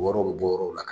Wɔɔrɔ bi bɔ yɔrɔw la